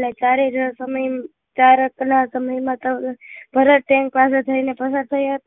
સમય માં તમે ભારત એન પાસે થઇ ને પસાર થયા